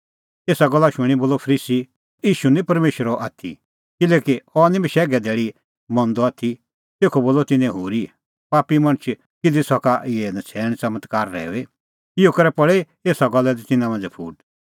एसा गल्ला शूणीं बोलअ फरीसी अह ईशू निं परमेशरो आथी किल्हैकि अह निं बशैघे धैल़ी मंदअ आथी तेखअ बोलअ तिन्नैं होरी पापी मणछ किधी सका इहै नछ़ैण च़मत्कार रहैऊई इहअ करै पल़ी एसा गल्ला लै तिन्नां मांझ़ै फूट